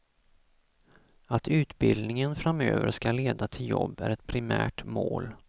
Att utbildningen framöver ska leda till jobb är ett primärt mål.